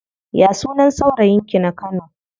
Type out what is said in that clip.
Ya sunan saurayin ki na kano?